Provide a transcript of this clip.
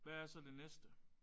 Hvad er så det næste?